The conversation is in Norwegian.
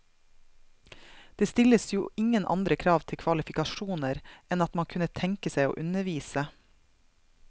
Det stilles jo ingen andre krav til kvalifikasjoner enn at man kunne tenke seg å undervise.